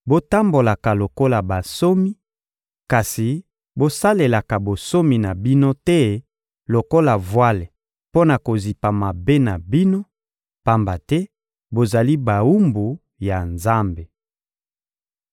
botambolaka lokola bansomi, kasi bosalelaka bonsomi na bino te lokola vwale mpo na kozipa mabe na bino, pamba te bozali bawumbu ya Nzambe.